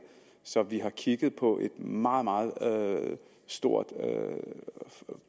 så vi har kigget på et meget meget stort